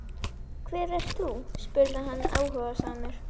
Hver ert þú? spurði hann áhugasamur.